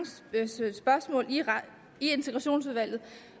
spørgsmål i integrationsudvalget